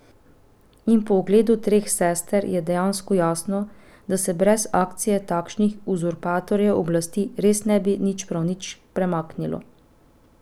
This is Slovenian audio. In po ogledu Treh sester je dejansko jasno, da se brez akcije takšnih uzurpatorjev oblasti res ne bi nič, prav nič premaknilo.